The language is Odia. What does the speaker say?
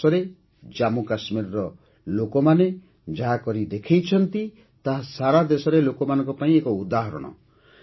ଗତମାସରେ ଜାମ୍ମୁ କାଶ୍ମୀରର ଲୋକମାନେ ଯାହା କରିଦେଖାଇଛନ୍ତି ତାହା ସାରା ଦେଶର ଲୋକମାନଙ୍କ ପାଇଁ ଏକ ଉଦାହରଣ